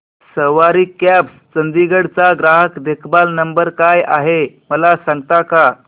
सवारी cabs Chandigarh चा ग्राहक देखभाल नंबर काय आहे मला सांगता का